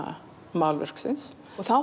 málverksins og þá